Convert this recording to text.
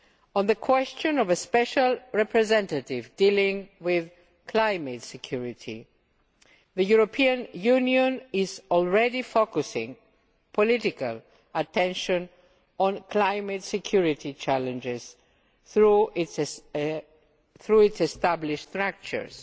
On the issue of a special representative dealing with climate security, the European Union is already focussing political attention on climate security challenges through its established structures.